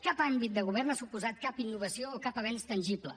cap àmbit de govern ha suposat cap innovació o cap avenç tangible